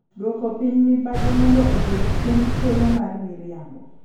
Duoko piny mibadhi mondo oduok chien thuolo mar miriambo.